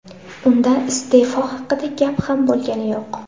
Unda iste’fo haqida gap ham bo‘lgani yo‘q.